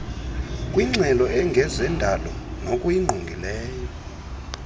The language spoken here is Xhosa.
kwingxelo engezendalo nokuyingqongileyo